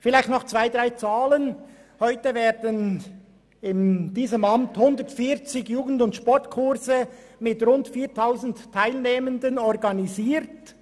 Zuerst einige Zahlen: Heute werden in diesem Amt 140 J+S-Kurse mit rund 4000 Teilnehmenden organisiert.